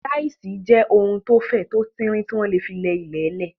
Táṣíṣì jẹ́ ohun tó fẹ̀, tó tin rin, tí wọ́n ń lò fún ilẹ̀ lẹ̀